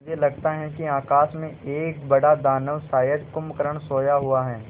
मुझे लगता है कि आकाश में एक बड़ा दानव शायद कुंभकर्ण सोया हुआ है